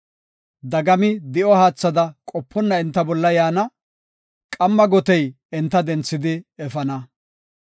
Dagami di7o haathada qoponna enta bolla yaana; qamma gotey enta denthidi efana.